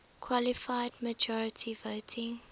qualified majority voting